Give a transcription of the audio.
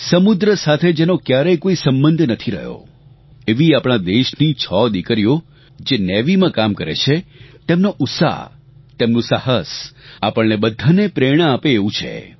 સમુદ્ર સાથે જેનો ક્યારેય કોઇ સંબંધ નથી રહ્યો એવી આપણાં દેશની છ દિકરીઓ જે નેવીમાં કામ કરે છે તેમનો ઉત્સાહ તેમનું સાહસ આપણને બધાને પ્રેરણા આપે એવું છે